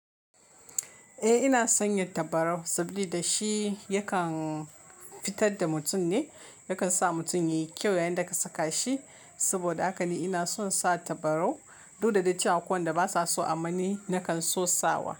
Eh ina son yin tabarau sabili da shi yakan fitar da mutum ne, yakan sa mutum yayi kyau yayin da ka saka shi. Saboda haka ni ina son sa tabarau. Du da dai cewa a ko wanda ba sa so amanni, nakan so sawa.